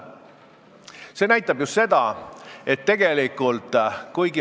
Mida see näitab?